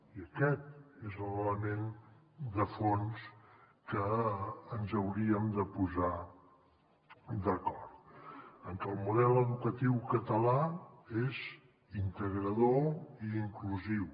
i aquest és l’element de fons en què ens hauríem de posar d’acord en que el model educatiu català és integrador i inclusiu